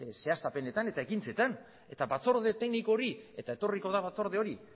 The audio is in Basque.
zehaztapenetan eta ekintzetan eta batzorde tekniko hori eta etorriko da batzorde hori